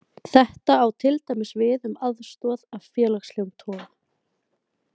Þetta á til dæmis við um aðstoð af félagslegum toga.